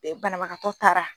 Be banabagatɔ taara